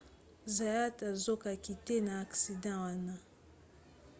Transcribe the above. zayat azokaki te na aksida wana